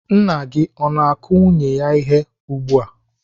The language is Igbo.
Nna gị o na-akụ nwunye ya ihe ugbu a?